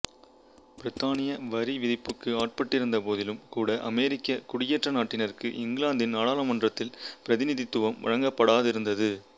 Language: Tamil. பிரித்தானிய வரிவிதிப்புக்கு ஆட்பட்டிருந்த போதிலும் கூட அமெரிக்க குடியேற்ற நாட்டினருக்கு இங்கிலாந்தின் நாடாளுமன்றத்தில் பிரதிநிதித்துவம் வழங்கப்படாதிருந்தது